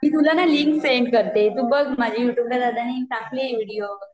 मी तुला ना link send करते तू बघ माझ्या युट्युबला दादाने टाकलेय व्हिडिओ